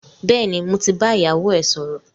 Bẹ́ẹ̀ni, mo ti bá ìyàwó ẹ sọ̀rọ̀